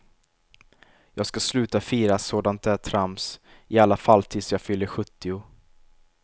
Jag ska sluta fira sådant där trams, i alla fall tills jag fyller sjuttio.